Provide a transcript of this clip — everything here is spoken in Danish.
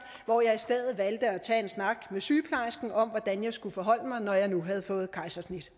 hvor jeg i stedet valgte at tage en snak med sygeplejersken om hvordan jeg skulle forholde mig når jeg nu havde fået kejsersnit